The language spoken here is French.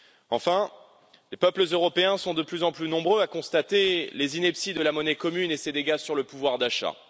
Enfin, les peuples européens sont de plus en plus nombreux à constater les inepties de la monnaie commune et ses dégâts sur le pouvoir d'achat.